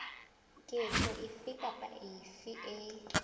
ketso efe kapa efe e